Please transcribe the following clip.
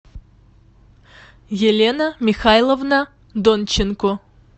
елена михайловна донченко